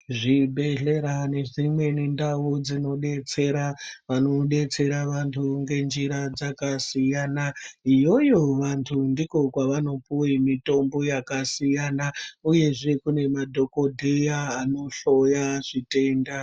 Zvi bhedhlera ne dzimweni ndau dzino detsera vano detsera antu nge njira dzaka siyana iyoyo vantu ndiko kwavano puwe mitombo yaka siyana uyezve kune madhokodheya ano hloya zvitenda.